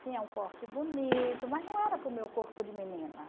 Tinha um corte bonito, mas não era para o meu corpo de menina.